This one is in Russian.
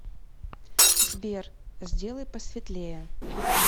сбер сделай посветлее